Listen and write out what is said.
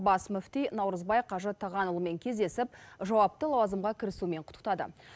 бас мүфти наурызбай қажы тағанұлымен кездесіп жауапты лауазымға кірісуімен құттықтады